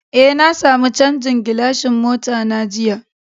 Eh, na samu chanzan gilashin mota na jiya.